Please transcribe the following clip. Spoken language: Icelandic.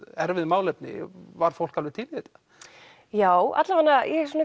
erfið málefni var fólk alveg til í þetta já allavega ég